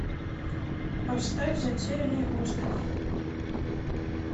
поставь затерянный остров